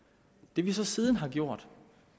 det vi så siden har gjort